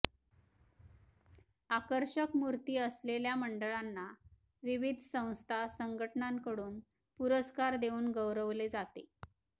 आकर्षक मूर्ती असलेल्या मंडळांना विविध संस्था संघटनांकडून पुरस्कार देवून गौरवले जाते